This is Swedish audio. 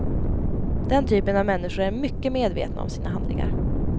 Den typen av människor är mycket medvetna om sina handlingar.